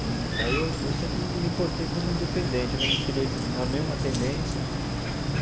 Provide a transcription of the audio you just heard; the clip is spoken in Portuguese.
E aí eu eu sempre me portei como independente, eu não me filiei a nenhuma tendência.